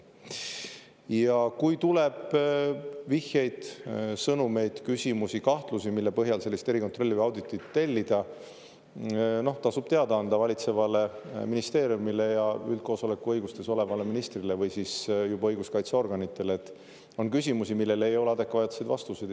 Ja kui tuleb vihjeid, sõnumeid, küsimusi, kahtlusi, mille põhjal sellist erikontrolli või auditit tellida, tasub teada anda valitsevale ministeeriumile ja üldkoosoleku õigustes olevale ministrile või siis juba õiguskaitseorganitele, et on küsimusi, millele ei ole adekvaatseid vastuseid.